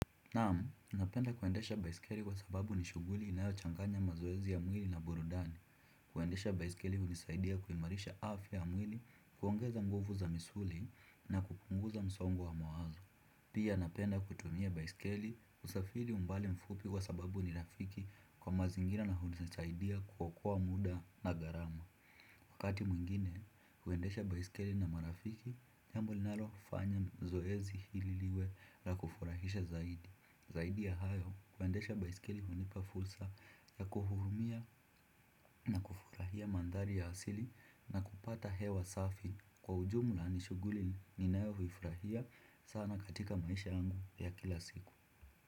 Naam, napenda kuendesha baiskeli kwa sababu ni shughuli inayochanganya mazoezi ya mwili na burudani. Kuendesha baiskeli hunisaidia kuimarisha afya ya mwili, kuongeza nguvu za misuli na kupunguza msongo wa mawazo. Pia napenda kutumia baiskeli kusafiri umbali mfupi kwa sababu ni rafiki kwa mazingira na hunisaidia kuokoa muda na gharama. Wakati mwingine huendesha baiskeli na marafiki, jambo linalofanya zoezi hili liwe la kufurahisha zaidi. Zaidi ya hayo, kuendesha baiskeli hunipa fursa ya kuhurumia na kufurahia mandhari ya asili na kupata hewa safi, kwa ujumla ni shughuli ninayo huifurahia sana katika maisha yangu ya kila siku.